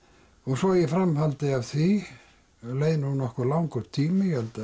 svo í framhaldi af því leið nú nokkuð langur tími ég held